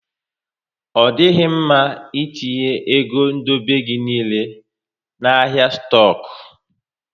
Ọ dịghị mma ị etinye égo dobe gị niile na ahịa stoku